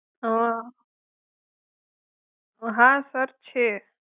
અં હા સર છે.